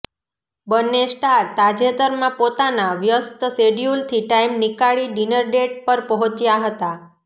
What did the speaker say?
બંને સ્ટાર તાજેતરમાં પોતાના વ્યસ્ત શેડ્યુલથી ટાઈમ નીકાળી ડીનર ડેટ પર પહોંચ્યા હતા